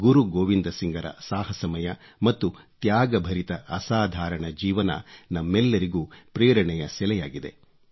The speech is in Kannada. ಗುರು ಗೋವಿಂದ್ ಸಿಂಗ್ರ ಸಾಹಸಮಯ ಮತ್ತು ತ್ಯಾಗಭರಿತ ಅಸಾಧಾರಣ ಜೀವನ ನಮ್ಮೆಲ್ಲರಿಗೂ ಪ್ರೇರಣೆಯ ಸೆಲೆಯಾಗಿದೆ